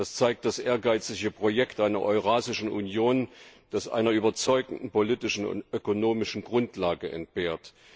Das zeigt das ehrgeizige Projekt einer Eurasischen Union, das einer überzeugenden politischen und ökonomischen Grundlage entbehrt.